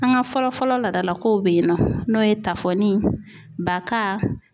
An ka fɔlɔ fɔlɔ laadalakow bɛ ye nɔ n'o ye tafoni baka